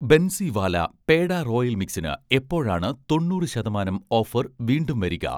Bansiwala peda royal മിക്സിന് എപ്പോഴാണ് തൊണ്ണൂറ് ശതമാനം ഓഫർ വീണ്ടും വരിക?